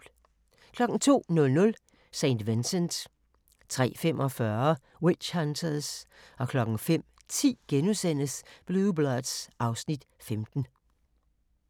02:00: St. Vincent 03:45: Witch Hunters 05:10: Blue Bloods (Afs. 15)*